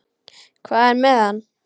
Hvað er með hann?